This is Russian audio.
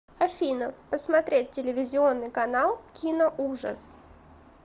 афина посмотреть телевизионный канал киноужас